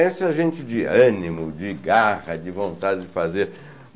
Essa gente de ânimo, de garra, de vontade de fazer.